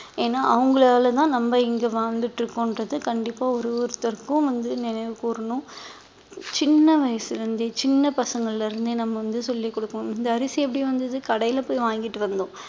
ஏன்னா அவங்களாலதான் நம்ம இங்க வாழ்ந்துட்டு இருக்கோம்ன்றது கண்டிப்பா ஒரு ஒருத்தருக்கும் வந்து நினைவு கூறணும் சின்ன வயசுல இருந்தே சின்ன பசங்கள்ல இருந்தே நம்ம வந்து சொல்லிக் கொடுப்போம் இந்த அரிசி எப்படி வந்தது கடையில போய் வாங்கிட்டு வந்தோம்